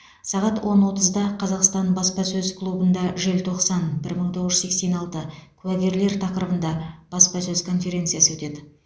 сағат он отызда қазақстан баспасөз клубында желтоқсан бір мың тоғыз жүз сексен алты куәгерлер тақырыбында баспасөз конференциясы өтеді